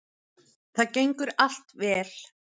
Það gengur allt vel